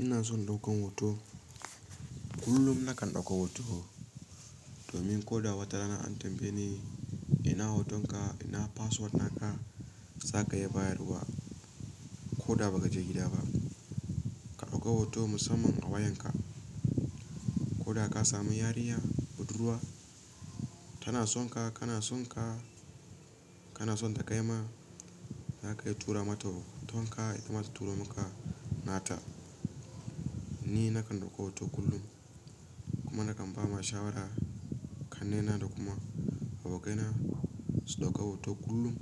Ina son ɗaukan hoto. Kullum na kan ɗauka hoto domin ko da wata rana an tambaye ni ina hotonka, ina password naka, za ka iya bayarwa. Ko da ba ka je gida ba, ka ɗauka hoto musamman a wayarka. Ko da ka sami yarinya budurwa tana sonka, kana sonka, kana son ta kai ma za ka iya tura mata hotonka, ita ma ta turo maka nata. Ni na kan ɗauka hoto kullum kuma na kan ba ma shawarar ƙanne na da kuma abokaina su ɗauka hoto kullum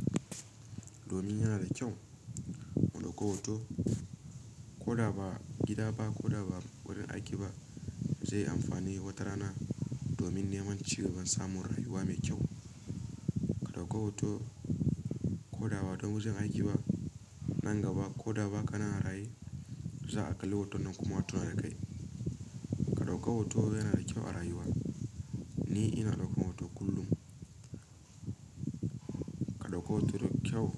domin yana da kyau mu ɗauka hoto. Ko da ba gida ba ko da ba wurin aiki ba zai yi amfani wata rana domin neman cigaban samun rayuwa mai kyau. Ka ɗauka hoto ko da ba don wajen aiki ba nan gaba ko da bakanan a raye za a kalli hoton nan kuma a tuna da kai. Ka ɗauka hoto yana da kyau a rayuwa. Ni ina ɗaukan hoto kullum. Ka ɗauka hoto da kyau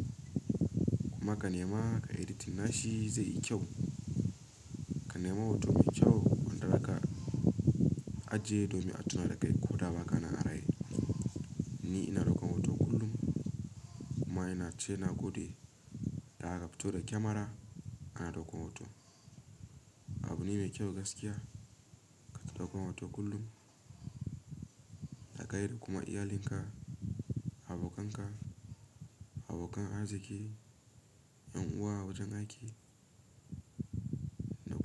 kuma ka nema kayi editin nashi zai yi kyau. Ka nema hoto mai kyau, wanda da zaka ajiye domin a tuna da kai ko da ba kana a raye. Ni ina ɗaukan hoto kullum, kuma ina ce na gode da aka fito da kyamara ana ɗaukan hoto. Abu ne mai kyau gaskiya ka ta ɗaukan hoto kullum. Ka kai da kuma iyalinka, abokanka, abokan arziki, ƴan uwa, wajen aiki, ɗuka.